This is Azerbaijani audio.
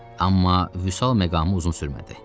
Amma vüsəl məqamı uzun sürmədi.